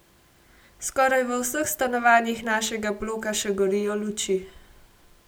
Skoraj v vseh stanovanjih našega bloka še gorijo luči.